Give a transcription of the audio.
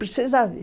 Precisa ver.